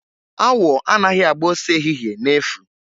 Awọ anaghị agba ọsọ ehihie na-efu.